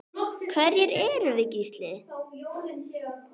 Hverjir erum við Gísli?